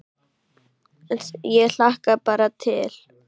Ég hlakka bara til